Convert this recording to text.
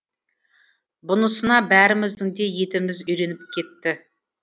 бұнысына бәріміздің де етіміз үйреніп кетті